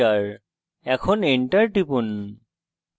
এখন enter টিপুন